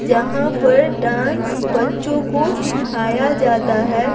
जहाँ पर डांस बच्चों को सिखाया जाता है।